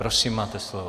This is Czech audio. Prosím, máte slovo.